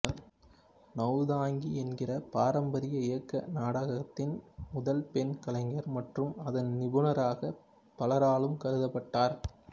நௌதாங்கி என்கிற பாரம்பரிய இயக்க நாடகத்தின் முதல் பெண் கலைஞர் மற்றும் அதன் நிபுணராக பலராலும் கருதப்பட்டார்